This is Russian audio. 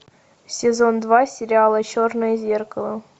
сезон два сериала черное зеркало